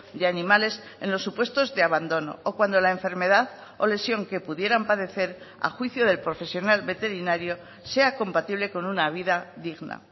de animales en los supuestos de abandono o cuando la enfermedad o lesión que pudieran padecer a juicio del profesional veterinario sea compatible con una vida digna